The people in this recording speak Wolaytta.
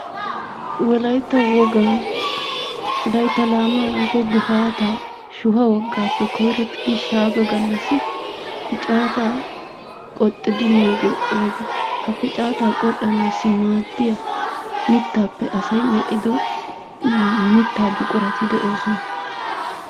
Wolaytta wogan laytta laamee woykko gifaataa shuha wogaappe koyrottidi shaaga gallassi piccaataa qoxxidi miyogee woga. Ha piccaata qoxxanaassi maaddiya mittaappe asay medhdhiddo mittaa buqurati de'oosona.